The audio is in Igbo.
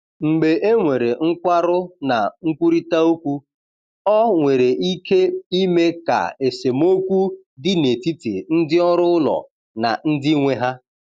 Mgbe e nwere nkwarụ na nkwurịta okwu, ọ nwere ike ime ka esemokwu dị n’etiti ndị ọrụ ụlọ na ndị nwe ha.